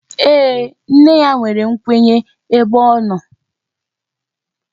Ee, nne ya nwere nkwenye ebe ọ nọ